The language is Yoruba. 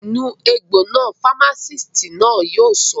Nu egbò náà! Fámásìtì náà yóò sọ